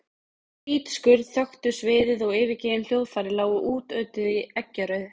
Hvít skurn þöktu sviðið og yfirgefin hljóðfæri lágu útötuð í eggjarauðu.